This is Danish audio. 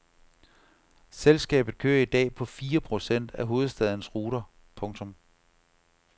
Selskabet kører i dag på fire procent af hovedstadens ruter. punktum